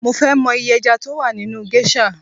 Mo ń fẹ mọ iye ẹja tó wà nínú géṣà